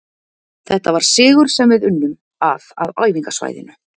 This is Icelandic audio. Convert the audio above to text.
Þetta var sigur sem við unnum að á æfingasvæðinu